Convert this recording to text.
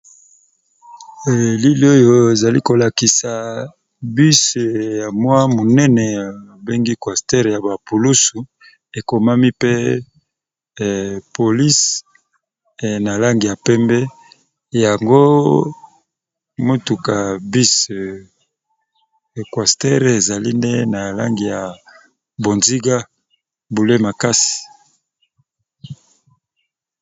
Elili oyo ezali kolakisa bus ya mwa monene babengi cwastere ya bapoulusu, ekomami pe polise na langi ya pembe, yango motuka bus cuastere ezali nde na langi ya bonziga bule makasi.